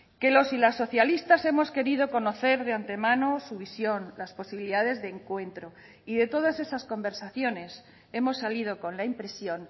que los y las socialistas hemos querido conocer de antemano su visión las posibilidades de encuentro y de todas esas conversaciones hemos salido con la impresión